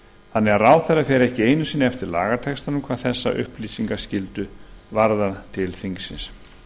þannig að ráðherrann fer ekki einu sinni eftir lagatextanum hvað þessa upplýsingaskyldu varðar til þingsins